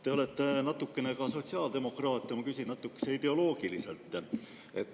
Te olete natukene ka sotsiaaldemokraat ja ma küsin natukene ideoloogiliselt.